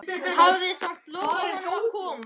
Hafði samt lofað honum að koma.